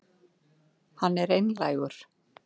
Hann er einlægur.